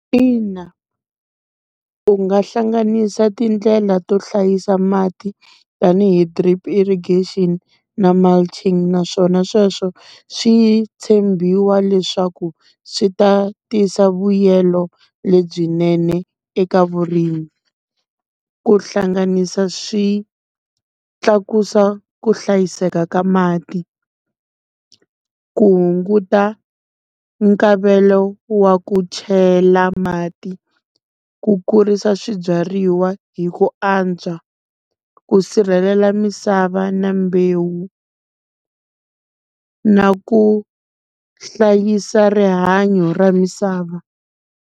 Ina u nga hlanganisa tindlela to hlayisa mati tanihi drip irrigation na mulching naswona sweswo swi tshembiwa leswaku swi ta tisa vuyelo lebyinene eka vurimi. Ku hlanganisa swi tlakusa ku hlayiseka ka mati. Ku hunguta nkavelo wa ku chela mati, ku kurisa swibyariwa hi ku antswa, ku sirhelela misava na mbewu na ku hlayisa rihanyo ra misava.